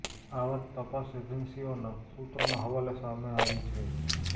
આ વાત તપાસ એજન્સીઓના સૂત્રોના હવાલે સામે આવી છે